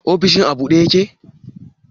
Ofishin a ɓuɗe ƴake?